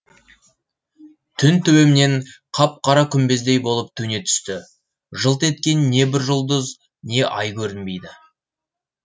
түн төбемнен қап қара күмбездей болып төне түсті жылт еткен не бір жұлдыз не ай көрінбейді